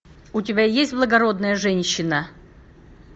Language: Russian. у тебя есть благородная женщина